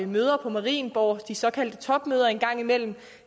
møder på marienborg de såkaldte topmøder engang imellem